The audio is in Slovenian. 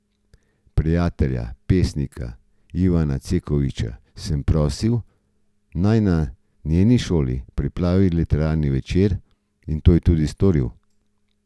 Prijatelja, pesnika Ivana Cekovića, sem prosil, naj na njeni šoli pripravi literarni večer, in to je tudi storil.